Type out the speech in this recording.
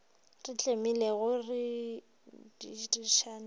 re tlemilego di re šitišago